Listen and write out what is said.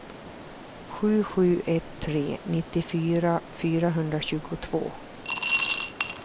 sju sju ett tre nittiofyra fyrahundratjugotvå